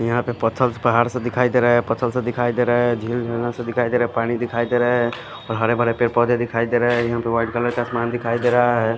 यहाँ पर पथल पहाड़ से दिख रहे है पथल से दिखाई दे रहा है झील वु से दिखाई दे रहा है पानी दिखाई दे रहा है और हरे भरे पेड़ पौधे दिखाई दे रहे है यहाँ पर वाइट कलर का आसमान दिखाई दे रहा है।